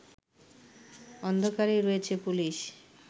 অন্ধকারেই রয়েছে পুলিশ